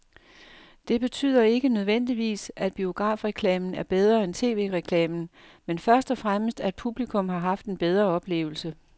Det betyder ikke nødvendigvis, at biografreklamen er bedre end tv-reklamen, men først og fremmest at publikum har haft en bedre oplevelse.